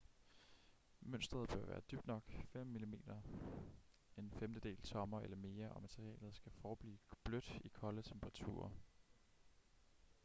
mønsteret bør være dybt nok - 5 mm 1/5 tommer eller mere - og materialet skal forblive blødt i kolde temperaturer